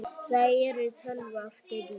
Það er tölva aftur í.